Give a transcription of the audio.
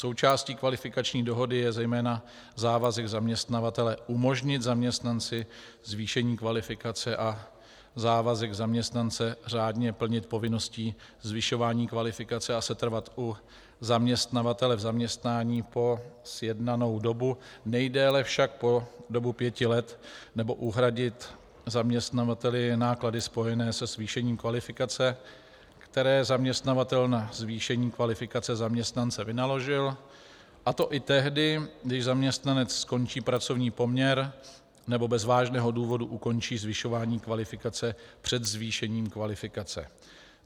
Součástí kvalifikační dohody je zejména závazek zaměstnavatele umožnit zaměstnanci zvýšení kvalifikace a závazek zaměstnance řádně plnit povinnosti zvyšování kvalifikace a setrvat u zaměstnavatele v zaměstnání po sjednanou dobu, nejdéle však po dobu pěti let, nebo uhradit zaměstnavateli náklady spojené se zvýšením kvalifikace, které zaměstnavatel na zvýšení kvalifikace zaměstnance vynaložil, a to i tehdy, když zaměstnanec skončí pracovní poměr nebo bez vážného důvodu ukončí zvyšování kvalifikace před zvýšením kvalifikace.